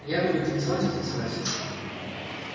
я буду танцевать и танцевать